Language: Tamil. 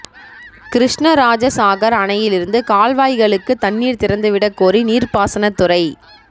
கிருஷ்ணராஜசாகர் அணையில் இருந்து கால்வாய்களுக்கு தண்ணீர் திறந்துவிடக் கோரி நீர்ப்பாசனத் துறை